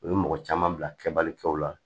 U ye mɔgɔ caman bila kɛbali kɛw la